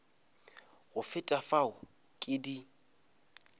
go feta fao ke di